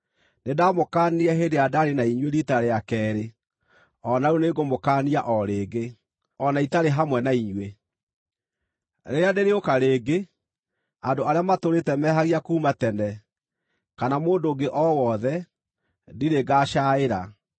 Nĩndamũkaanirie hĩndĩ ĩrĩa ndaarĩ na inyuĩ riita rĩa keerĩ. O na rĩu nĩngũmũkaania o rĩngĩ, o na itarĩ hamwe na inyuĩ: Rĩrĩa ndĩrĩũka rĩngĩ, andũ arĩa matũũrĩte mehagia kuuma tene, kana mũndũ ũngĩ o wothe, ndirĩ ngacaaĩra,